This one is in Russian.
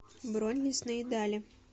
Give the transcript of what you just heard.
бронь лесные дали